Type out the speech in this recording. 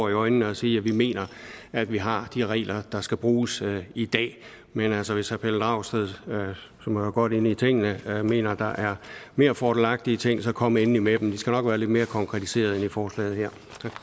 i øjnene at sige at vi mener at vi har de regler der skal bruges i dag men altså hvis herre pelle dragsted som jo er godt inde i tingene mener at der er mere fordelagtige ting så kom endelig med dem de skal nok være lidt mere konkretiserede end i forslaget her